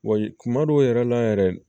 Wayi kuma dɔw yɛrɛ la yɛrɛ